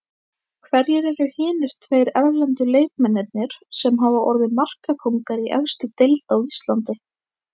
Hverjir eru hinir tveir erlendu leikmennirnir sem hafa orðið markakóngar í efstu deild á Íslandi?